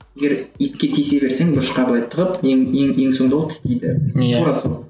егер итке тисе берсең бұрышқа қойып тығып ең ең ол соңында тістейді иә тура сол